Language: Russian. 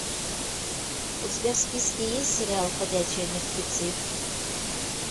у тебя в списке есть сериал ходячие мертвецы